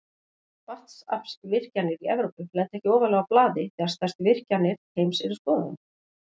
Vatnsaflsvirkjanir í Evrópu lenda ekki ofarlega á blaði þegar stærstu virkjanir heims eru skoðaðar.